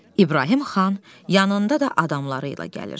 İbrahim xan yanında da adamları ilə gəlir.